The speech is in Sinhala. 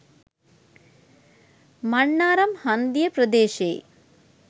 මන්නාරම් හන්දිය ප්‍රදේශයේ